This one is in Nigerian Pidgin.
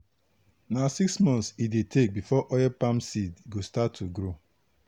na six months e dey take before oil palm seed go start to grow.